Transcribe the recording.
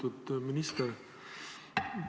Lugupeetud minister!